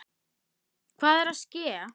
Hvað er að ske?